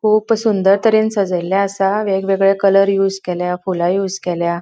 खूप सुंदर तरेन सजयल्ले असा वेगवेगळे कलर यूज केला फूला यूज केल्या.